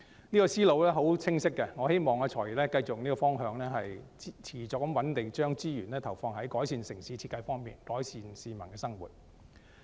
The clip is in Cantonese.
這思路是十分清晰的，我希望"財爺"繼續循這方向，持續穩定地將資源投放在改善城市設計方面，改善市民的生活。